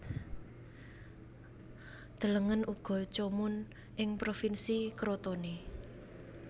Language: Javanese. Delengen uga Comun ing Provinsi Crotone